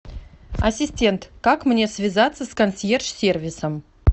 ассистент как мне связаться с консьерж сервисом